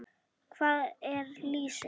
Hvað er lýsi?